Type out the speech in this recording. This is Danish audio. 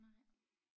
Nej